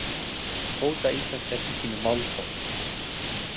Hóta íslenska ríkinu málsókn